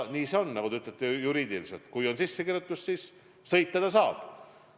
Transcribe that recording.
Nagu te ütlete, kui on sissekirjutus, siis sõita saab.